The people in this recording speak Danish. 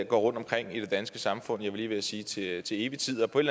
går rundtomkring i det danske samfund jeg var lige ved at sige til til evig tid og på et